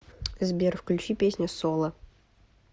сбер включи песня соло